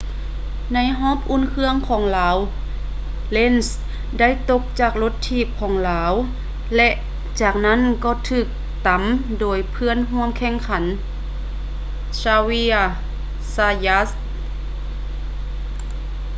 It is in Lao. ໃນຮອບອຸ່ນເຄື່ອງຂອງລາວ lenz ໄດ້ຕົກຈາກລົດຖີບຂອງລາວ ແລະ ຈາກນັ້ນກໍຖືກຕຳໂດຍເພື່ອນຮ່ວມແຂ່ງຂັນ xavier zayat